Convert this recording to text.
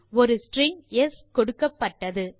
ஒரு strings கொடுக்கப்பட்டது